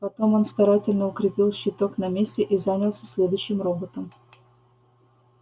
потом он старательно укрепил щиток на месте и занялся следующим роботом